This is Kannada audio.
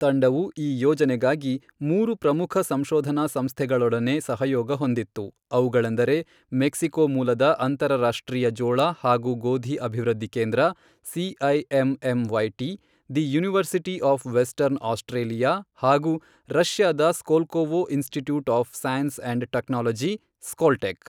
ತಂಡವು ಈ ಯೋಜನೆಗಾಗಿ ಮೂರು ಪ್ರಮುಖ ಸಂಶೋಧನಾ ಸಂಸ್ಥೆಗಳೊಡನೆ ಸಹಯೋಗ ಹೊಂದಿತ್ತು, ಅವುಗಳೆಂದರೆ, ಮೆಕ್ಸಿಕೋ ಮೂಲದ ಅಂತರರಾಷ್ಟ್ರೀಯ ಜೋಳ ಹಾಗೂ ಗೋಧಿ ಅಭಿವೃದ್ಧಿ ಕೇಂದ್ರ, CIMMYT, the university of Western Australia, ಹಾಗೂ ರಶ್ಯಾದ Skolkovo Institute of Science and Technology, Skoltech.